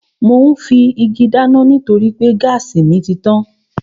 Mò ún fi igi dáná nítorí pé gáàsì mi títàn